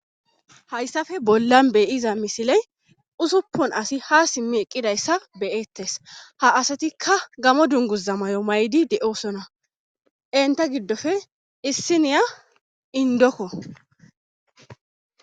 Hayssafe bollan beyiza misiley usuppun asi ha simmi eqqidayssa beyettes ha asatikka gamo dungus zamayo may'di de'osona enta giddofe issiniya indokko